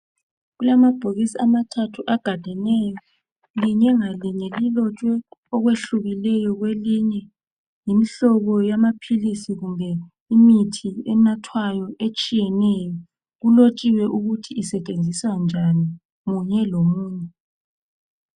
Kulamabhokisi amathathu agadeneyo. Linye ngalinye lilotshwe okwehlukeneyo kwelinye. Yimhlobo yamaphilisi kumbe imithi enathwayo etshiyeneyo. Kulotshiwe ukuthi isetshenziswa njani, munye lomunye.